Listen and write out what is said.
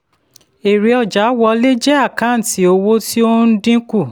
èrè ọjà wọlé jẹ́ àkáǹtì owó tí ó n dínkù.